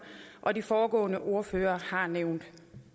og de foregående ordførere har nævnt